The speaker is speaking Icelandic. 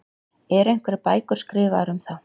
Eru einhverjar bækur skrifaðar um þá?